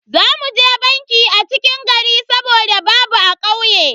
Za mu je banki a cikin gari saboda babu a kauye.